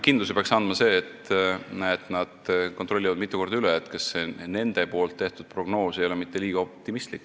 Kindluse peaks andma see, et nad kontrollivad mitu korda üle, kas see nende tehtud prognoos ei ole mitte liiga optimistlik.